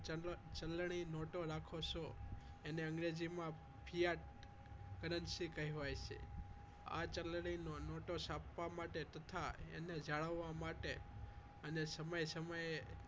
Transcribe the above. ચલણી નોટો રાખો છો એને અંગ્રેજીમાં ગુફિયા currency કહેવાય છે આ ચલણી નોટોને છાપવામાં તથા એને જાળવવા માટે અને સમયે સમયે